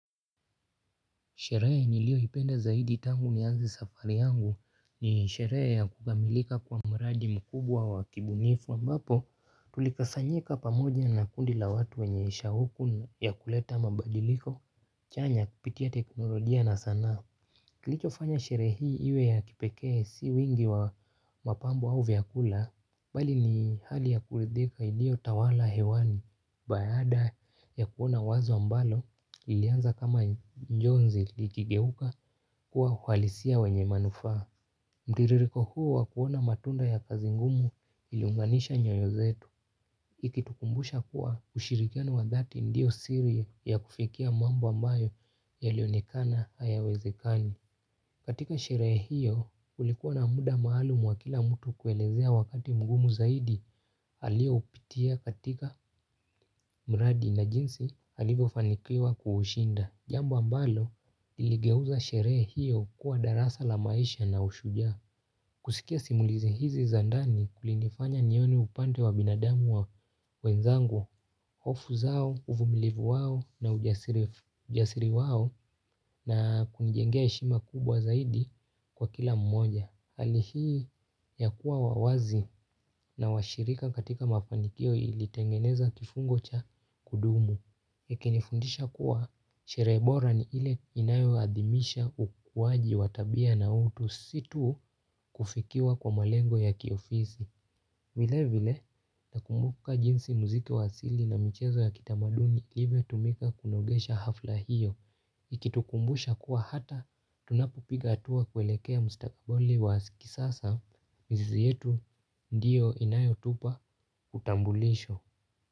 Sherehe niliyoipenda zaidi tangu nianze safari yangu ni sherehe ya kukamilika kwa mradi mkubwa wa kibunifu ambapo tulikasanyika pamoja na kundi la watu wenye shauku ya kuleta mabadiliko chanya kupitia teknolojia na sanaa. Kilichofanya sherehe hii iwe ya kipekee si wingi wa mapambo au vyakula, bali ni hali ya kuridhika iliotawala hewani. Baaada ya kuona wazo ambalo lilianza kama njonzi likigeuka kuwa uhalisia wenye manufaa. Mtiririko huu wa kuona matunda ya kazi ngumu iliunganisha nyoyo zetu. Ikitukumbusha kuwa ushirikiano wa dhati ndio siri ya kufikia mambo ambayo yalionekana hayawezekani. Katika sherehe hiyo, kulikuwa na mda maalum wa kila mtu kuelezea wakati mgumu zaidi alioupitia katika mradi na jinsi alivyofanikiwa kuushinda. Jambo ambalo, liligeuza sherehe hiyo kuwa darasa la maisha na ushujaa. Kusikia simulizi hizi za ndani kulinifanya nione upande wa binadamu wa wenzangu, hofu zao, uvumilivu wao na ujasiri wao na kunijengea heshima kubwa zaidi kwa kila mmoja. Hali hii ya kuwa wa wazi na washirika katika mafanikio ilitengeneza kifungo cha kudumu ikinifundisha kuwa sherehe bora ni ile inayoadhimisha ukuwaji wa tabia na utu si tu kufikiwa kwa malengo ya kiofisi. Vile vile nakumbuka jinsi muziki wa asili na michezo ya kitamaduni ilivyotumika kunogesha hafla hiyo. Ikitukumbusha kuwa hata tunapopiga hatua kwelekea mstakaboli wa kisasa mizizi yetu ndiyo inayotupa utambulisho.